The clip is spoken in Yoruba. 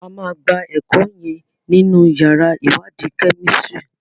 A má gbà eko yen nínú yàrá iwadi Kẹ́mísìrì.